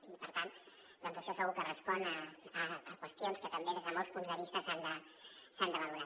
i per tant això segur que respon a qüestions que també des de molts punts de vista s’han de valorar